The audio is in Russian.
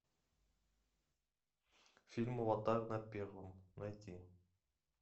фильм аватар на первом найти